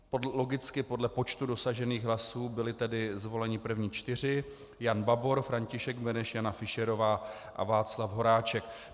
Logicky podle počtu dosažených hlasů byli tedy zvoleni první čtyři: Jan Babor, František Beneš, Jana Fischerová a Václav Horáček.